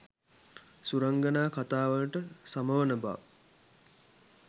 සුරංගනා කථා වලට සම වන බව